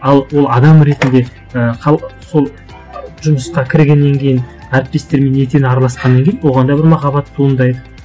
ал ол адам ретінде і сол жұмысқа кіргеннен кейін әріптестерімен етене араласқаннан кейін оған да бір махаббат туындайды